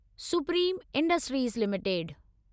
supreme industries limited